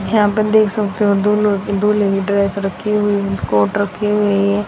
यहां पे देख सकते हो दो लो दो लीटर रखी हुई है कोट रखे हुई है।